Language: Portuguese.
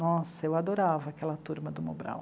Nossa, eu adorava aquela turma do Mobral.